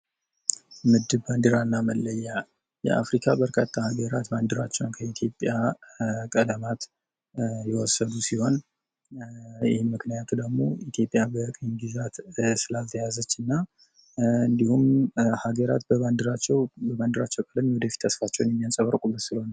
ምድብ ባንድራና መለያ የአፍሪካ በርካታ ሀገራት ባንዲራቸውን ከኢትዮጵያ ቀለማት የወሰዱ ሲሆን ምክንያቱ ደግሞ ኢትዮጵያ በቅኝ ግዛት ስላልተያዘችና እንዲሁም ሀገራት የባንዲራቸውን ቀለ እንዴት ተስፋቸው የሚያንጸባርቁበት ስለሆነ።